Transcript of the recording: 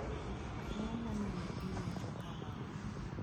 Ang'o momiyo iwinjo kamano?